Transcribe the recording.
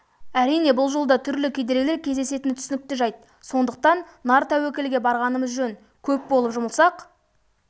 әрине бұл жолда түрлі кедергілер кездесетіні түсінікті жайт сондықтан нар тәуекелге барғанымыз жөн көп болып жұмылсақ